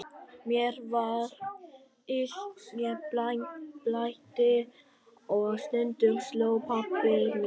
Mér var illt, mér blæddi og stundum sló pabbi mig.